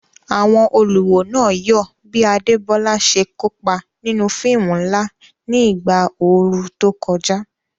Àwọn olùwò náà yọ̀ bí Adebola ṣe kópa nínú fíìmù ńlá ní ìgbà ooru tó kọjá.